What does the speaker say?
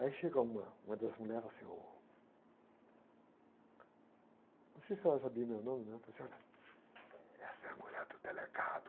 Aí chega uma, uma das mulheres assim, ôh, não sei se ela sabia o meu nome, mas ela falou assim, olha, essa é a mulher do delegado.